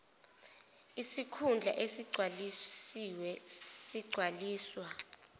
sikhundla esigcwalisiwe sigcwaliswa